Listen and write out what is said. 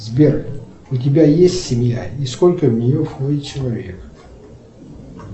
сбер у тебя есть семья и сколько в нее входит человек